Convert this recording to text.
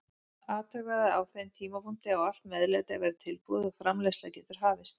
Athugaðu að á þeim tímapunkti á allt meðlæti að vera tilbúið og framreiðsla getur hafist.